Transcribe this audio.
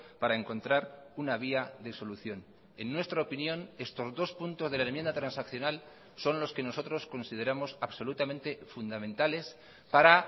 para encontrar una vía de solución en nuestra opinión estos dos puntos de la enmienda transaccional son los que nosotros consideramos absolutamente fundamentales para